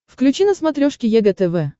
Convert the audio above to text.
включи на смотрешке егэ тв